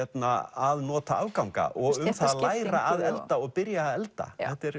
að nota afganga og um það að læra að elda og byrja að elda